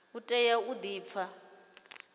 u tea u di pfa